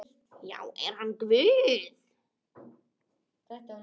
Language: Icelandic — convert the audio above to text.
Já, er hann Guð?